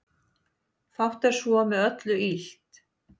Fátt er svo með öllu illt